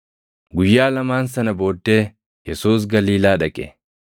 Guyyaa lamaan sana booddee Yesuus Galiilaa dhaqe.